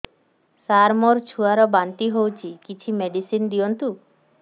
ସାର ମୋର ଛୁଆ ର ବାନ୍ତି ହଉଚି କିଛି ମେଡିସିନ ଦିଅନ୍ତୁ